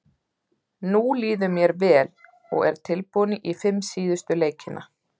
Núna líður mér vel og er tilbúinn í fimm síðustu leikina.